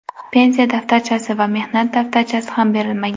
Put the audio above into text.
Pensiya daftarchasi va mehnat daftarchasi ham berilmagan.